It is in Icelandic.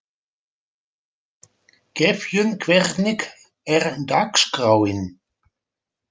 Gefjun, hvernig er dagskráin?